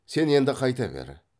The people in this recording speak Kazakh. сен енді қайта бер